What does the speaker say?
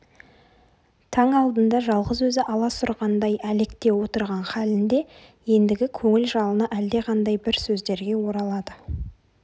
таң алдында жалғыз өзі аласұрғандай әлекте отырған халінде ендігі көңіл жалыны әлдеқандай бір сөздерге оралады